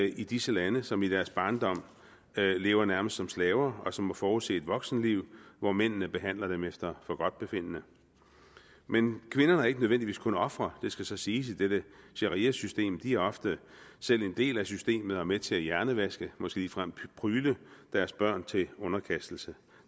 i disse lande som i deres barndom lever nærmest som slaver og som må forudse et voksenliv hvor mændene behandler dem efter forgodtbefindende men kvinderne er ikke nødvendigvis kun ofre det skal så siges i dette shariasystem de er ofte selv en del af systemet og med til at hjernevaske måske ligefrem prygle deres børn til underkastelse